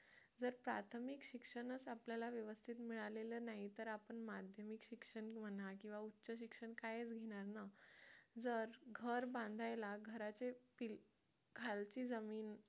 जर प्राथमिक शिक्षणाचा आपल्याला व्यवस्थित मिळालेला नाही तर आपण माध्यमिक शिक्षण म्हणा की उच्च शिक्षणणा कायच घेणार ना जर घर बांधायला घराचे खालची जमीन